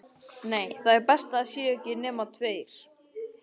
Nei, það er best að það séu ekki nema tveir.